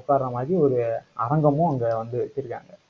உட்கார மாதிரி ஒரு அரங்கமும், அங்க வந்து வச்சிருக்காங்க